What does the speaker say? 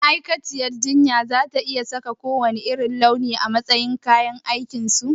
Ma'aikaciyar jinya za ta iya sa kowanne irin launi a matsayin kayan aikinsu?